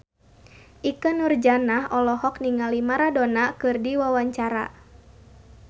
Ikke Nurjanah olohok ningali Maradona keur diwawancara